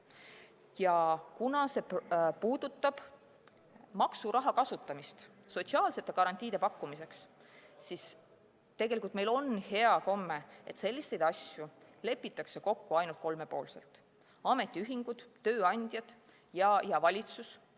Ja kuna see puudutab maksuraha kasutamist sotsiaalsete garantiide pakkumiseks, siis meil on hea komme, et selliseid asju lepitakse kokku ainult kolmepoolselt: ametiühingud, tööandjad ja valitsus.